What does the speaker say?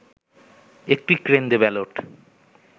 একটি কেন্দ্রে ব্যালট